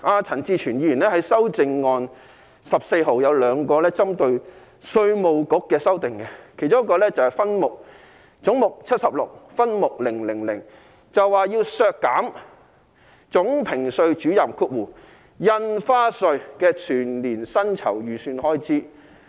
陳志全議員提出修正案編號14和 15， 均是針對稅務局的修訂，其中一個是總目 76， 分目 000， 要求削減稅務局總評稅主任的全年薪酬預算開支。